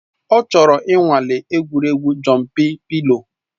Ọ chọrọ ịnwale egwuregwu Jọmpị pịlo